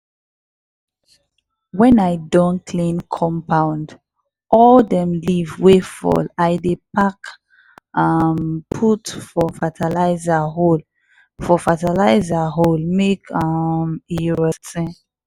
when i don clean compound all dem leave wey fall i dey pack um put for fertilizer hole for fertilizer hole mek um e rot ten.